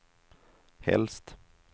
helst